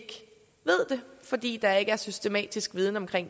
det fordi der ikke er indsamlet systematisk viden om det